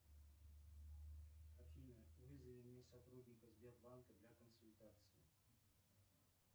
афина вызови мне сотрудника сбербанка для консультации